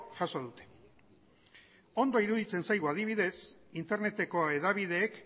jaso dute ondo iruditzen zaigu adibidez interneteko hedabideek